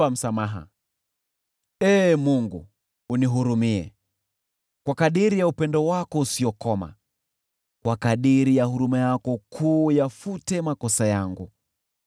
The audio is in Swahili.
Ee Mungu, unihurumie, kwa kadiri ya upendo wako usiokoma, kwa kadiri ya huruma yako kuu, uyafute makosa yangu.